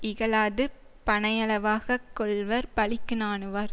இகழாது பனையளவாக கொள்வர் பழிக்கு நாணுவார்